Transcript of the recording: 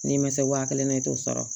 N'i ma se wa kelen na i t'o sɔrɔ